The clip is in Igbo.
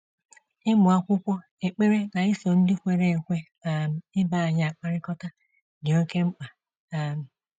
“Ịmụ akwụkwọ, ekpere, na iso ndị kwere ekwe um ibe anyị akpakọrịta dị oké mkpa. um